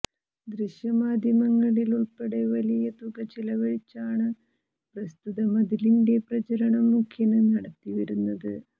ദൃശ്യമാധ്യമങ്ങളിലുള്പ്പെടെ വലിയ തുക ചെലവഴിച്ചാണ് പ്രസ്തുത മതിലിന്റെ പ്രചരണം മുഖ്യന് നടത്തിവരുന്നത്